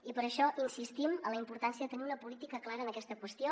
i per això insistim en la importància de tenir una política clara en aquesta qüestió